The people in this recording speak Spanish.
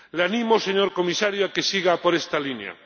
Le animo, señor Comisario, a que siga por esta línea.